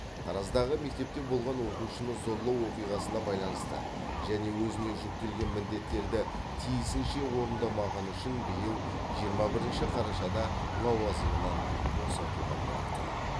тараздағы мектепте болған оқушыны зорлау оқиғасына байланысты және өзіне жүктелген міндеттерді тиісінше орындамағаны үшін биыл жиырма бірінші қарашада лауазымынан босатылған болатын